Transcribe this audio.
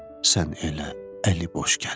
Sən elə əli boş gəl.